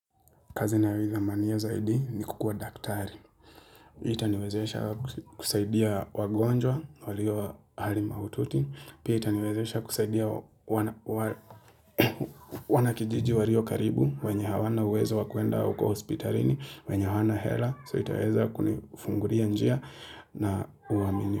Kazi nayoidhamania zaidi ni kukua daktari. Itaniwezesha kusaidia wagonjwa, walio hali maututi. Pia itaniwezesha kusaidia wanakijiji walio karibu, wanye hawana uwezo wa kuenda huko hospitalini, wanye hawana hela, so itaweza kunifungulia njia na uamini.